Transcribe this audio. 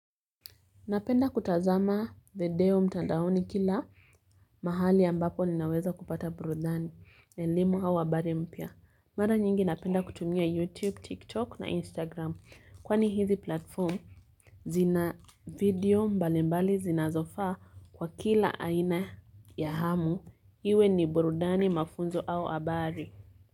Napenda kutazama video mtandaoni kila mahali ambapo ninaweza kupata burudani, elimu au habari mpya. Mara nyingi napenda kutumia YouTube, TikTok na Instagram. Kwani hizi platform zina video mbali mbali zinazofaa kwa kila aina ya hamu, iwe ni burudani mafunzo au habari.